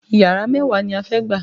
Yàrá mẹ́wàá ni a fẹ́ gbà